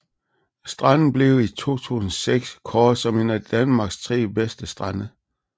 Stranden blev i 2006 kåret som en af Danmarks 3 bedste strande